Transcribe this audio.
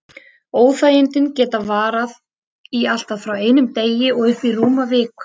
Óþægindin geta varað í allt frá einum degi og upp í rúma viku.